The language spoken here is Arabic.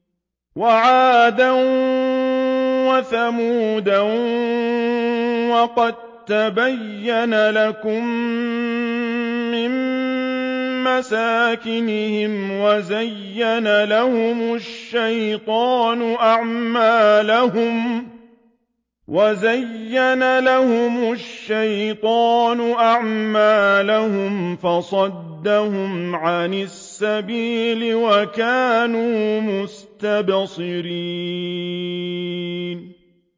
وَعَادًا وَثَمُودَ وَقَد تَّبَيَّنَ لَكُم مِّن مَّسَاكِنِهِمْ ۖ وَزَيَّنَ لَهُمُ الشَّيْطَانُ أَعْمَالَهُمْ فَصَدَّهُمْ عَنِ السَّبِيلِ وَكَانُوا مُسْتَبْصِرِينَ